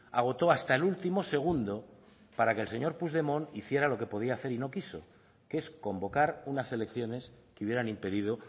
agotó hasta el último segundo para que el señor puigdemont hiciera lo que podía hacer y no quiso que es convocar unas elecciones que hubieran impedido